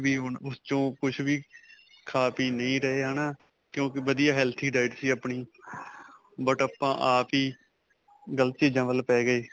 ਕੁੱਝ ਵੀ ਹੁਣ ਉਸ 'ਚੋ ਕੁੱਝ ਵੀ ਖਾ-ਪੀ ਨਹੀਂ ਰਹੇ ਹੈ ਨਾ? ਕਿਉਂਕਿ ਵਧੀਆ healthy diet ਸੀ ਅਪਣੀ, but ਆਪਾਂ ਆਪ ਹੀ ਗਲਤ ਚੀਜ਼ਾ ਵੱਲ ਪੈ ਗਏ.